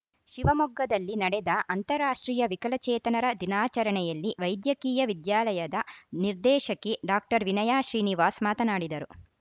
ಶಿವಮೊಗ್ಗದಲ್ಲಿ ನಡೆದ ಅಂತಾರಾಷ್ಟ್ರೀಯ ವಿಕಲಚೇತನರ ದಿನಾಚರಣೆಯಲ್ಲಿ ವೈದ್ಯಕೀಯ ವಿದ್ಯಾಲಯದ ನಿರ್ದೇಶಕಿ ಡಾಕ್ಟರ್ ವಿನಯಾ ಶ್ರೀನಿವಾಸ್‌ ಮಾತನಾಡಿದರು